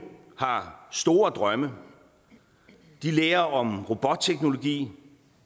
har store drømme de lærer om robotteknologi